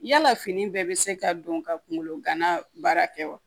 Yala fini bɛɛ bɛ se ka don ka kungolo gana baara kɛ wa